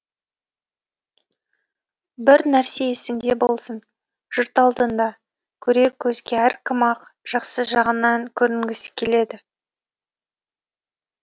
бір нәрсе есіңде болсын жұрт алдында көрер көзге әркім ақ жақсы жағынан көрінгісі келеді